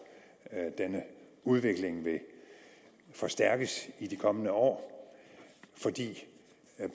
denne udvikling vil forstærkes i de kommende år fordi